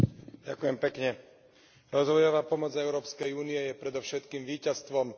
Rozvojová pomoc Európskej únie je predovšetkým víťazstvom dobrého marketingu.